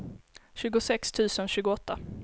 tjugosex tusen tjugoåtta